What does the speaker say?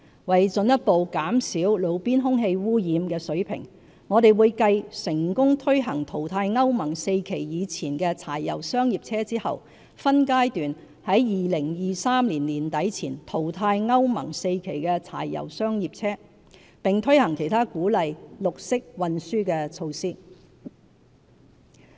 為進一步減少路邊空氣污染物的水平，我們會繼成功推行淘汰歐盟 IV 期以前的柴油商業車後，分階段在2023年年底前淘汰歐盟 IV 期的柴油商業車，並推行其他鼓勵綠色運輸的措施。